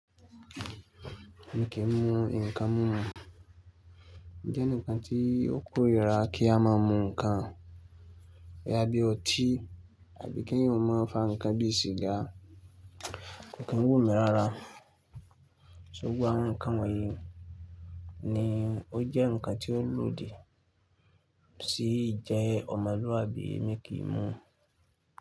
Mi kì í mu ǹkan mímu, ó jẹ́ ǹkan tí ó kórira kí a máa mu ǹkan boya bí i ọtí àbí kí èèyàn máa fà ǹkan bí i sìgá, kò kí n wú mi rárá. Gbogbo awon ǹkan wọ̀nyí ni ó jẹ́ ǹkan tí ó lódì sí ìjẹ ọmọlúwàbí mi kì í mu.